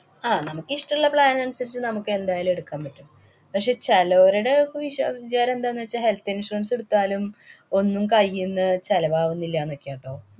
ആഹ് നമുക്കിഷ്ടമുള്ള plan അനുസരിച്ച് നമുക്ക് എന്തായാലും എടുക്കാന്‍ പറ്റും. പക്ഷേ, ചെലോരുടൊക്കെ വിശ്വാ~ വിചാരം എന്താന്ന് വച്ചാ health insurance ഇടുത്താലും ഒന്നും കൈയീന്ന് ചെലവാവുന്നില്ല ന്നൊക്കെയാ ട്ടോ.